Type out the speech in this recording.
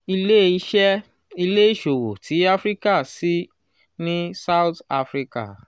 ile-iṣẹ ile-iṣowo ti afirika ṣii ni south africa